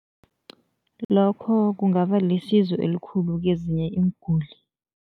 Lokho kungaba lisizo elikhulu kezinye iinguli.